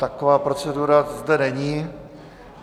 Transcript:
Taková procedura zde není.